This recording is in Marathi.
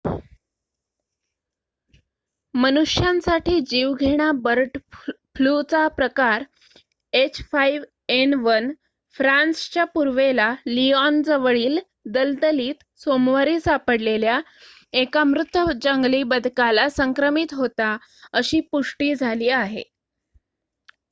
मनुष्यांसाठी जीवघेणा बर्ड फ्लूचा प्रकार h5n1 फ्रान्सच्या पूर्वेला लियोनजवळील दलदलीत सोमवारी सापडलेल्या एका मृत जंगली बदकाला संक्रमित होता अशी पुष्टि झाली आहे